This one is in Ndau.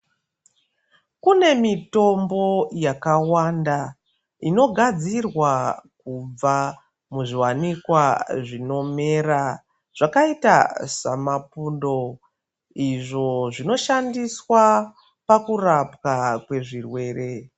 Kune mitombo yakawanda inogadzirwa kubva muzviwanikwa zvinomera zvakaita samapundo izvo zvinoshandiswa pakurapwa kwezvirwere.